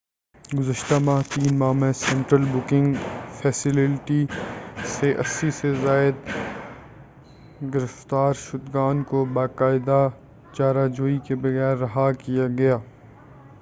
گُذشتہ 3 ماہ میں central booking facility سے 80 سے زائد گرفتار شُدگان کو باقاعدہ چارہ جوئی کے بغیر رہا کیا گیا